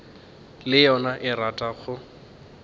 le yona e rata go